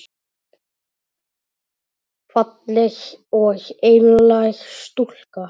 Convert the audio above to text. Falleg og einlæg stúlka.